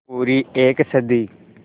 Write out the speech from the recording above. पूरी एक सदी